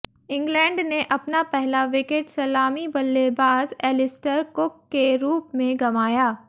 England ने अपना पहला विकेट सलामी बल्लेबाज एलिस्टर कुक के रूप में गंवाया